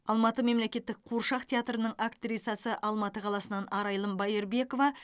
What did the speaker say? алматы мемлекеттік қуыршақ театрының актрисасы алматы қаласынан арайлым байырбекова